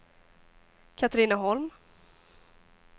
Katrineholm